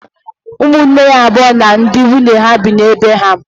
Ụmụnne ya abụọ na ndị nwunye ha bi na be ha.